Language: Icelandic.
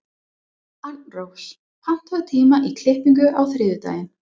Arnrós, pantaðu tíma í klippingu á þriðjudaginn.